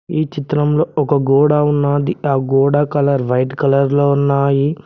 ఈ చిత్రంలో ఒక గోడ ఉన్నాది ఆ గోడ కలర్ వైట్ కలర్ లో ఉన్నాయి.